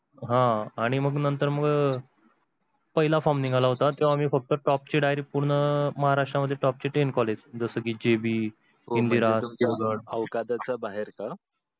आह आणि मग नंतर मग पहिला form निघाला होता तेव्हा आमी फक्‍त top चा महाराष्ट्र मध्ये top चे ten college